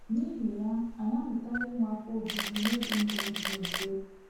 N’ihi ya, anyị amụtala inwe afọ ojuju n’ibi ndụ dị mfe.